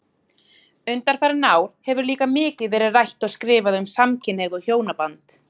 Undanfarin ár hefur líka mikið verið rætt og skrifað um samkynhneigð og hjónaband.